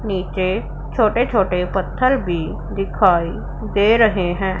नीचे छोटे छोटे पत्थर भी दिखाई दे रहे हैं।